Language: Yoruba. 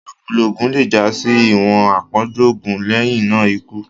ilokulo oògùn le já sí iwọn apọju oògùn lẹhinna ikú